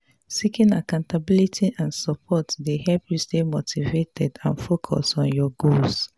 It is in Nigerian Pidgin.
seeking accountability and support dey help you stay motivated and focused on your goals.